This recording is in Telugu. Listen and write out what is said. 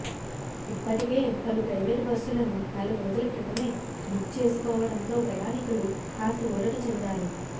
ఇప్పటికే పలు ప్రైవేటు బస్సులను నెల రోజుల క్రితమే బుక్ చేసుకోవడంతో ప్రయాణికులు కాస్త ఊరట చెందారు